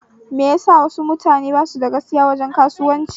Me yasa wasu mutane basu da gaskiya wajen kasuwan ci?